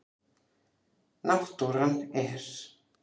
Náttúran er.